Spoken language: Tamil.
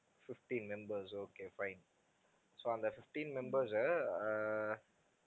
fifteen members okay fine so அந்த fifteen members அ அஹ்